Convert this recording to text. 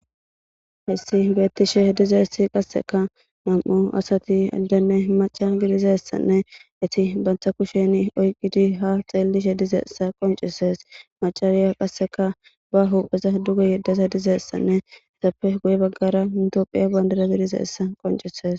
hessi beettishe dizeessi qasseka nam7o asati addanne maca gidizessanne iti bantha kushen oyqidi ha xeellishe dizeessa qoncisees macariya qasseka ba hupheza duge yeddeza dizeessanne esappe guye baggara mitoophiya bandira bidizeessa qoncises